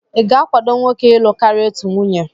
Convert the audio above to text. ị ga-akwado nwoke ịlụ karịa otu nwunye?